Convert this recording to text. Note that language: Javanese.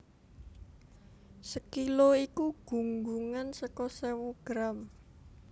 Sekilo iku gunggungan seka sewu gram